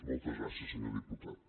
moltes gràcies senyor diputat